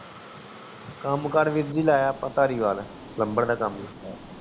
ਕਾਮ ਕਰ ਵੀਰ ਜੀ ਲਾਯਾ ਅੱਪਾ ਧਾਰੀਵਾਲ